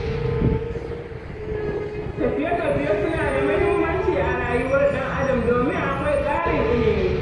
Tafiye-tafiye suna da muhimmanci a rayuwar ɗan'adam domin akwai ƙarin ilimi.